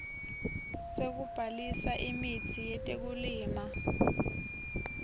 sekubhalisa imitsi yetekulima